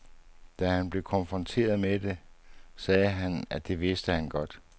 Da han blev konfronteret med det, sagde han, at det vidste han godt.